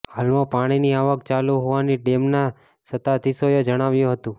હાલમા પાણીની આવક ચાલુ હોવાની ડેમના સત્તાધીશો એ જણાવ્યું હતું